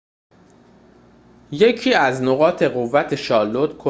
یکی از نقاط قوت شارلوت کالیفرنیای شمالی وجود آپشن‌های با کیفیت فراوان برای خانواده‌هاست